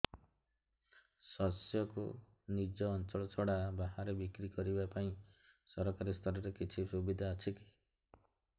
ଶସ୍ୟକୁ ନିଜ ଅଞ୍ଚଳ ଛଡା ବାହାରେ ବିକ୍ରି କରିବା ପାଇଁ ସରକାରୀ ସ୍ତରରେ କିଛି ସୁବିଧା ଅଛି କି